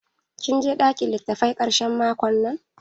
Kin je ɗakin litattafai ƙarshen makon nan?